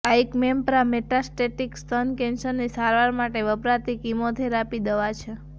આઈક્મેમ્પ્રા metastatic સ્તન કેન્સરની સારવાર માટે વપરાતી કિમોથેરાપી દવા છે